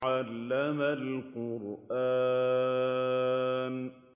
عَلَّمَ الْقُرْآنَ